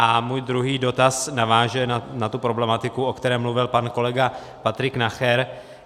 A můj druhý dotaz naváže na tu problematiku, o které mluvil pan kolega Patrik Nacher.